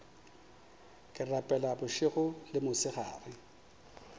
ke rapela bošego le mosegare